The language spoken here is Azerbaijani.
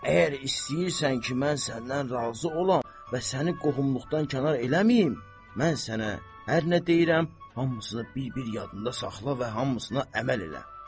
Əgər istəyirsən ki, mən səndən razı olam və səni qohumluqdan kənar eləməyim, mən sənə hər nə deyirəm, hamısını bir-bir yadında saxla və hamısına əməl elə.